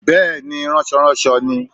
Bẹ́ẹ̀ni ránsoránso ni